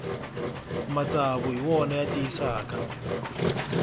matsavu hi wona ya tiyisaka